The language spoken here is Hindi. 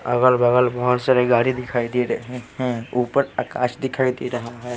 बगल बगल बहुत सारे गाड़ी दिखाई दे रहे हैं ऊपर आकाश दिखाई दे रहा है।